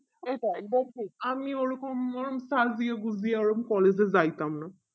এটাই দেখুন আমিও ওই রকম দিয়ে ঐরকম collage এ যাইতাম না